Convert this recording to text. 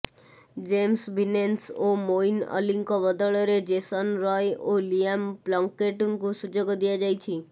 James Vince ଓ ମୋଇନ୍ ଅଲୀଙ୍କ ବଦଳରେ ଜେସନ ରୟ ଓ ଲିଆମ ପ୍ଲଙ୍କେଟଙ୍କୁ ସୁଯୋଗ ଦିଆଯାଇଛି